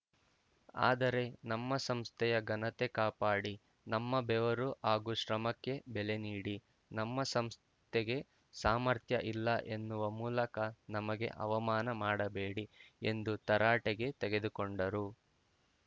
ಆದರೆ ನಮ್ಮ ಸಂಸ್ಥೆಯ ಘನತೆ ಕಾಪಾಡಿ ನಮ್ಮ ಬೆವರು ಹಾಗೂ ಶ್ರಮಕ್ಕೆ ಬೆಲೆ ನೀಡಿ ನಮ್ಮ ಸಂಸ್ಥೆಗೆ ಸಾಮರ್ಥ್ಯ ಇಲ್ಲ ಎನ್ನುವ ಮೂಲಕ ನಮಗೆ ಅವಮಾನ ಮಾಡಬೇಡಿ ಎಂದು ತರಾಟೆಗೆ ತೆಗೆದುಕೊಂಡರು